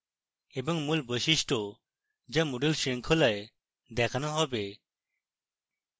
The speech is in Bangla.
moodle বৈশিষ্ট্য যা moodle শৃঙ্খলায় দেখানো হবে